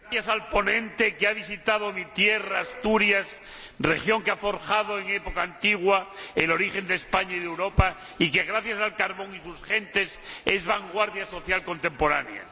Señora Presidenta, gracias al ponente, que ha visitado mi tierra, Asturias, región que ha forjado en época antigua el origen de España y de Europa, y que gracias al carbón y a sus gentes es vanguardia social contemporánea.